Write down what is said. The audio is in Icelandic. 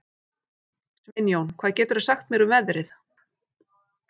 Sveinjón, hvað geturðu sagt mér um veðrið?